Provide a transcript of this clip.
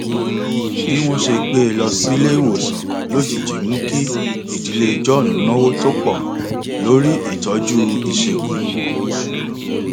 bí wọn ṣe gbé e lọ sílé ìwòsàn lójijì mú kí ìdílé john náwó tó pọ lórí ìtọjú ìṣègùn